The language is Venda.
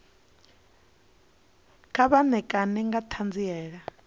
kha vha ṋekane nga ṱhanziela